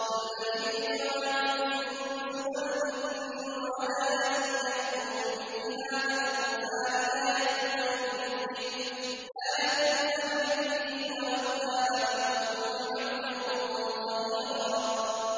قُل لَّئِنِ اجْتَمَعَتِ الْإِنسُ وَالْجِنُّ عَلَىٰ أَن يَأْتُوا بِمِثْلِ هَٰذَا الْقُرْآنِ لَا يَأْتُونَ بِمِثْلِهِ وَلَوْ كَانَ بَعْضُهُمْ لِبَعْضٍ ظَهِيرًا